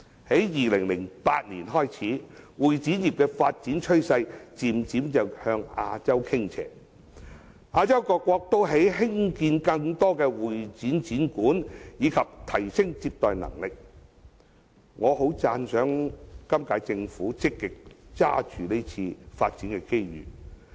從2008年開始，會展業的發展趨勢逐漸向亞洲傾斜，亞洲各國都興建更多的會展展館以提升接待能力，我很讚賞今屆政府積極抓緊這次發展機遇。